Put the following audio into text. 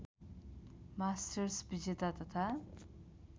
masters विजेता तथा